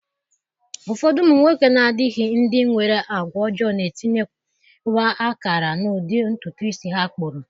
Ụfọdụ ụmụ nwoke na-adịghị ndị nwere àgwà ọjọọ na-etinyewa akara n'ụdị ntụtụ isi ha kpụrụ.